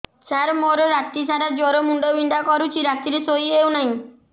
ସାର ମୋର ରାତି ସାରା ଜ୍ଵର ମୁଣ୍ଡ ବିନ୍ଧା କରୁଛି ରାତିରେ ଶୋଇ ହେଉ ନାହିଁ